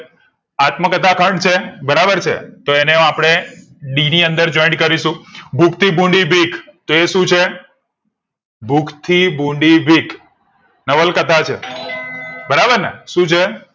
આત્મકથા ખંડ છે બરાબર છે અને આ પડે ડી ની અંદર joint કરીશું ભૂખ થી ભૂંડી બીક તો એ શું છે ભૂખ થી ભૂંડી બીક નવલ કથા છે બરાબર ને શું છે